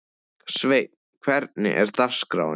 Sveinn, hvernig er dagskráin?